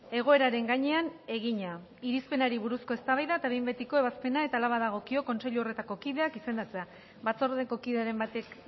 egoeraren gainean egina irizpenari buruzko eztabaida eta behin betiko ebazpena eta hala badagokio kontseilu horretako kideak izendatzea batzordeko kideren batek